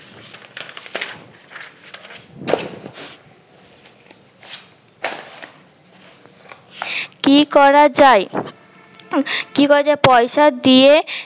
কি করা যায় কি করা যায় পয়সা দিয়ে